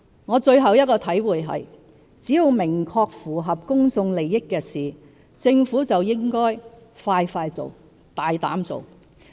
我最後一個體會是，只要是明確符合公眾利益的事，政府就應該快快做、大膽做。